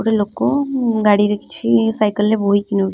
ଗୋଟେ ଲୋକ ଅ ଗାଡ଼ିରେ କିଛି ସାଇକଲ୍‌ ରେ ବୋହିକି ନଉ --